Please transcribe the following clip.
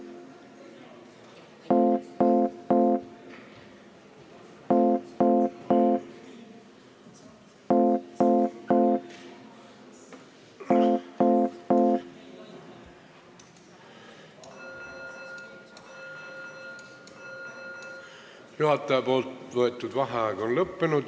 Juhataja võetud vaheaeg on lõppenud.